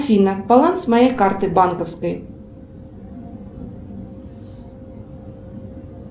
афина баланс моей карты банковской